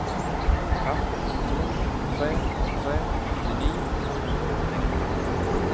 fem to tre tre åttini fem hundre og åttini